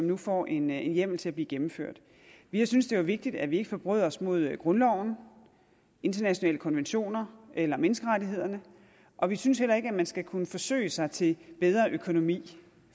nu får en hjemmel til at blive gennemført vi synes det er vigtigt at vi ikke forbryder os mod grundloven internationale konventioner eller menneskerettighederne og vi synes heller ikke at man skal kunne forsøge sig til en bedre økonomi